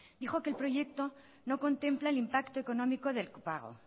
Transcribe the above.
dijo que el proyecto no contempla el impacto económico del copago